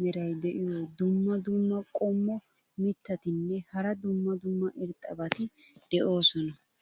meray diyo dumma dumma qommo mitattinne hara dumma dumma irxxabati de'oosona.